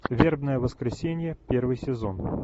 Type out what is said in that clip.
вербное воскресенье первый сезон